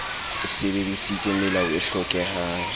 o sebedisitse melao e hlokehang